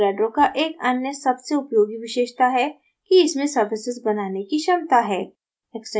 avogadro का एक अन्य सबसे उपयोगी विशेषता है कि इसमें surfaces बनाने की क्षमता है